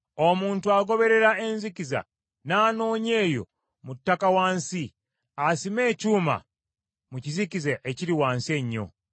Omuntu agoberera enzikiza n’anoonya eyo mu ttaka wansi, asime ekyuma mu kizikiza ekiri wansi ennyo.